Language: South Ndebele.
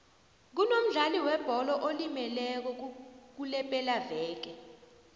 kunomdlali webholo olimeleko kulepelaveke